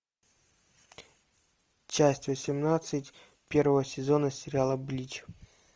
часть восемнадцать первого сезона сериала блич